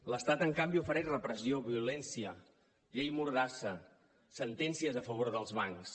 l’estat en canvi ofereix repressió violència llei mordassa sentències a favor dels bancs